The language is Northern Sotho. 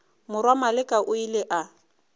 morwa maleka o ile a